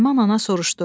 Naiman ana soruşdu: